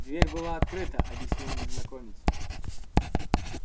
дверь была открыта объяснил незнакомец